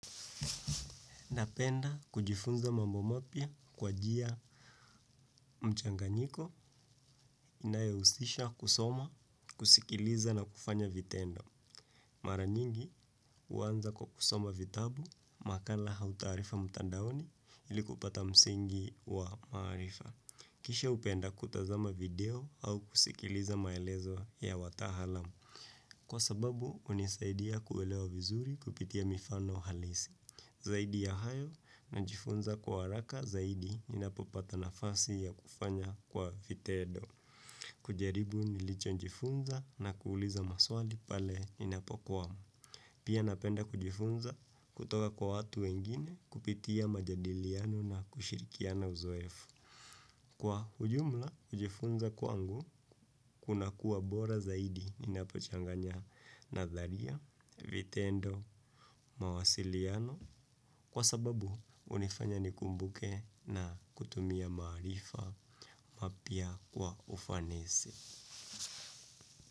Napenda kujifunza mambo mapya kwa njia mchanganyiko inayohusisha kusoma, kusikiliza na kufanya vitendo. Mara nyingi huanza kwa kusoma vitabu, makala au taarifa mtandaoni ili kupata msingi wa maarifa. Kisha hupenda kutazama video au kusikiliza maelezo ya wataalam. Kwa sababu hunisaidia kuelewa vizuri kupitia mifano halisi. Zaidi ya hayo na najifunza kwa haraka zaidi ninapopata nafasi ya kufanya kwa vitendo. Kujaribu nilichojifunza na kuuliza maswali pale ninapokwa. Pia napenda kujifunza kutoka kwa watu wengine kupitia majadiliano na kushirikiana uzoefu. Kwa ujumla, kujifunza kwangu kunakuwa bora zaidi ninapochanganya natharia, vitendo, mawasiliano. Kwa sababu hunifanya nikumbuke na kutumia maarifa mapya wa ufanisi.